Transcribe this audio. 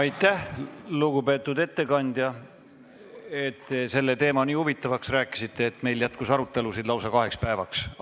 Aitäh, lugupeetud ettekandja, et te selle teema nii huvitavaks rääkisite, et meil jätkus aruteluainet lausa kaheks päevaks!